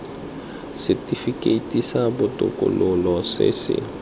setifikeiti sa botokololo se se